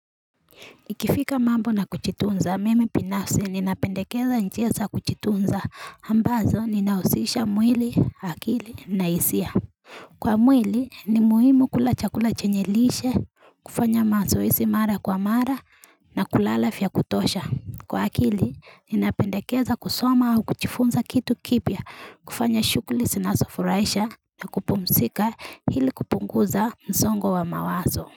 Ikifika mambo na kujitunza, mimi binafsi ninapendekeza njia za kujitunza ambazo ninahusisha mwili, akili na hisia. Kwa mwili, ni muhimu kula chakula chenye lishe, kufanya mazoezi mara kwa mara na kulala ya kutosha. Kwa akili, ninapendekeza kusoma au kujifunza kitu kipya, kufanya shughuli zinazofurahisha na kupumzika ili kupunguza msongo wa mawazo.